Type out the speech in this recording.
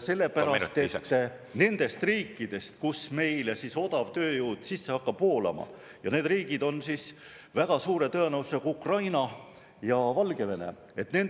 Sellepärast et nendes riikides, kust meile odavtööjõud sisse hakkab voolama – need riigid on väga suure tõenäosusega Ukraina ja Valgevene